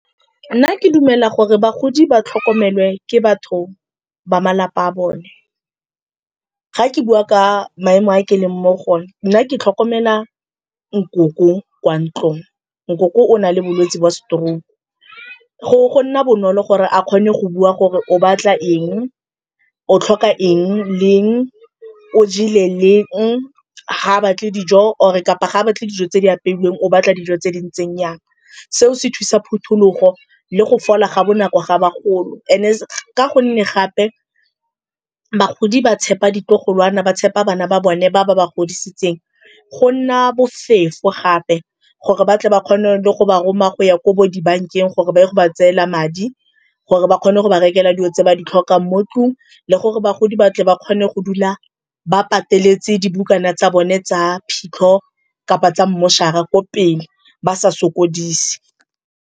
Nna ke dumela gore bagodi ba tlhokomelwe ke batho ba malapa a bone. Ga ke bua ka maemo a ke leng mo go one, nna ke tlhokomela nkoko kwa ntlong. Nkoko o na le bolwetsi ba stroke-u. Gore go nna bonolo gore a kgone go bua gore o batla eng, o tlhoka eng leng, o jele leng, ga batle dijo or-e kapa ga a batle dijo tse di apeilweng o batla dijo tse di ntseng jang. Seo se thusa phutulogo le go fola ga bonako ga bagolo and-e ka gonne gape bagodi ba tshepa ditlogolwana, ba tshepa bana ba bone ba ba ba godisitseng. Go nna bofefo gape gore batle ba kgone le go ba roma go ya ko bo dibankeng gore ba ye go ba tseela madi gore ba kgone go ba rekelwa dilo tse ba di tlhokang mo ntlung le gore bagodi ba tle ba kgone go dula ba pateletse dibukana tsa bone tsa phitlho kapa tsa mmošara ko pele ba sa sokodise.